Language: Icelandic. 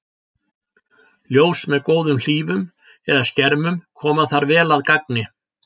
Ljós með góðum hlífum eða skermum koma þar vel að gagni.